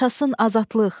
Yaşasın azadlıq!